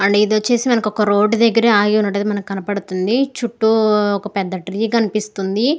And ఇది వచ్చేసి మనకి ఒక రోడ్డు దగ్గర ఆగి ఉన్నట్టు అయితే మనకి కనబడుతుంది. చుట్టూ ఒక పెద్ద ట్రీ కనిపిస్తుంది.